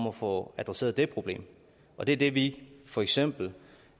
at få adresseret det problem og det er det vi for eksempel